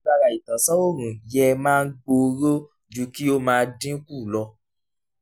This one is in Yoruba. agbára ìtánsán-òòrùn yẹ́ máa gbòòrò ju kí ó máa dínkù lọ.